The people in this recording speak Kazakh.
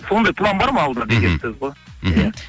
сондай план бар алда деген сөз ғой мхм